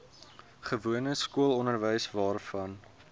gewone skoolonderwys waarvan